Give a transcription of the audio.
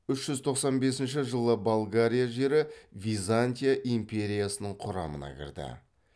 үш жүз тоқсан бесінші жылы болгария жері византия империясының құрамына кірді